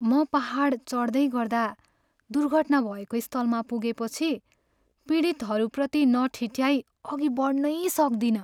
म पाहाड चढ्दै गर्दा दुर्घटना भएको स्थलमा पुगेपछि पीडितहरूप्रति नटिठ्याइ अघि बढ्नै सक्दिनँ।